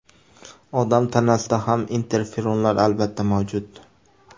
Odam tanasida ham interferonlar albatta mavjud.